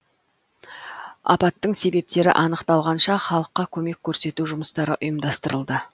апаттың себептері анықталғанша халыққа көмек көрсету жұмыстары ұйымдастырылды